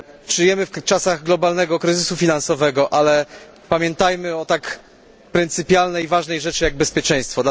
Żyjemy w czasach globalnego kryzysu finansowego, ale pamiętajmy o tak pryncypialnej i ważnej rzeczy jak bezpieczeństwo.